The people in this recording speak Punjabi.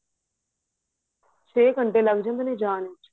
ਚੇ ਘੰਟੇ ਲੱਗ ਜਾਂਦੇ ਏ ਜਾਣ ਚ